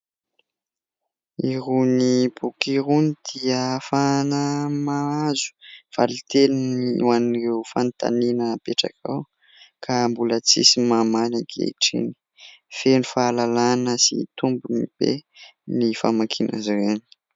Irony boky irony dia ahafana mahazo valiteny ho an'ireo fanontaniana hapetraka ao ka mbola tsisy mamaly ankehitriny. Feno fahalalana sy tombony be ny famakiana azy ireny.